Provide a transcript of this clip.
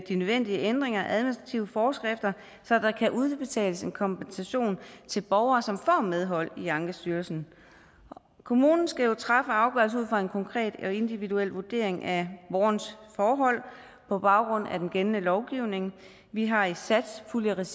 de nødvendige ændringer af administrative forskrifter så der kan udbetales en kompensation til borgere som får medhold i ankestyrelsen kommunen skal træffe afgørelse ud fra en konkret og individuel vurdering af borgerens forhold på baggrund af den gældende lovgivning vi har i satspuljeregi